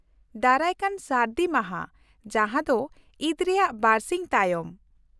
-ᱫᱟᱨᱟᱭᱠᱟᱱ ᱥᱟᱹᱨᱫᱤ ᱢᱟᱦᱟ ᱡᱟᱦᱟᱸ ᱫᱚ ᱤᱫᱽ ᱨᱮᱭᱟᱜ ᱵᱟᱨᱥᱤᱧ ᱛᱟᱭᱚᱢ᱾